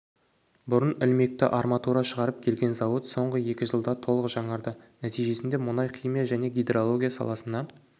бұрын ілмекті арматура шығарып келген зауыт соңғы екі жылда толық жаңарды нәтижесінде мұнай-химия және гидрология саласына